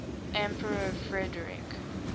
emperor frederick